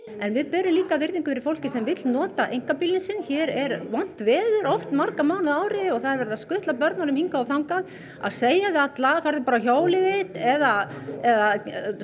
við berum líka virðingu fyrir fólki sem vill nota einkabílinn sinn hér er vont veður marga mánuði á ári og verið að skutla börnum hingað á þangað að segja við alla farðu bara á hjólið þitt eða eða